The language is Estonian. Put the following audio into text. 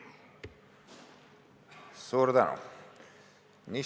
Suur tänu!